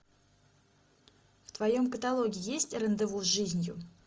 в твоем каталоге есть рандеву с жизнью